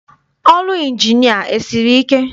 Ọrụ Ịnjinịa esiri ike?